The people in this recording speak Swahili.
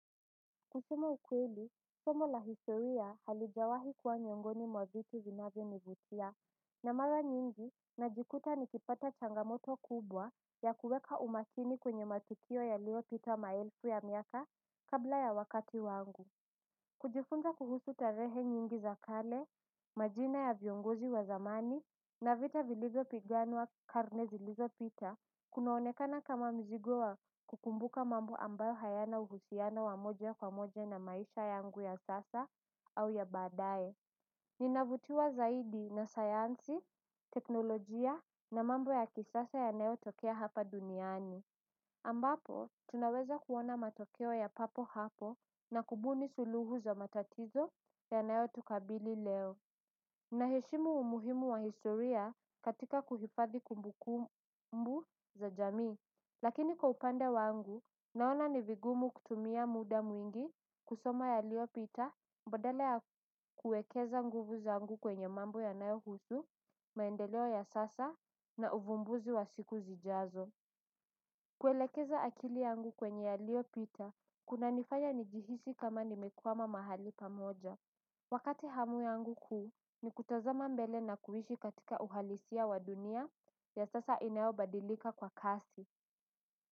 Kusema ukweli, somo la historia halijawahi kuwa miongoni mwa vitu vinavyo nivutia na mara nyingi najikuta nikipata changamoto kubwa ya kuweka umakini kwenye matukio yaliopita maelfu ya miaka kabla ya wakati wangu. Kujifunza kuhusu tarehe nyingi zakale, majina ya viongozi wa zamani, na vita vilivyo piganwa karnezi lizo pita, kunaonekana kama mzigo wa kukumbuka mambo ambayo hayana uhusiano wamoja kwa moja na maisha yangu ya sasa au ya baadae. Ninavutiwa zaidi na sayansi, teknolojia na mambo ya kisasa yanayo tokea hapa duniani. Ambapo, tunaweza kuona matokeo ya papo hapo na kubuni suluhu za matatizo ya nayo tukabili leo. Naheshimu umuhimu wa historia katika kuhifadhi kumbuku mbu za jamii. Lakini kwa upande wangu, naona ni vigumu kutumia muda mwingi kusoma ya lio pita badala ya kuekeza nguvu za ngu kwenye mambo ya nayo husu, maendeleo ya sasa na uvumbuzi wa siku zijazo. Kuelekeza akili yangu kwenye ya lio pita kuna nifanya nijihisi kama nimekwama mahali pamoja. Wakati hamu yangu kuu ni kutazama mbele na kuhishi katika uhalisia wa dunia ya sasa inayobadilika kwa kasi.